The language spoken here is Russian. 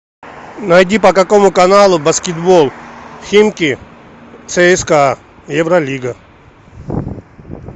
найди по какому каналу баскетбол химки цска евролига